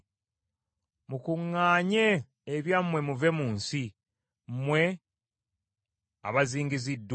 Mukuŋŋaanye ebyammwe muve mu nsi, mmwe abazingiziddwa.